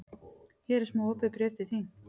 Hér er smá opið bréf til þín.